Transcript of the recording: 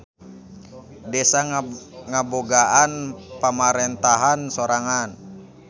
Desa ngabogaan pamarentahan sorangan.